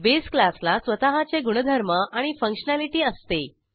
base क्लासला स्वतःचे गुणधर्म आणि फंक्शनॅलिटी असते